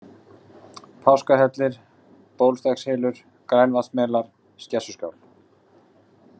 Páskahellir, Bólstekkshylur, Grænavatnsmelar, Skessuskál